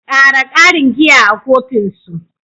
Ƙara ƙarin giya a kofin su.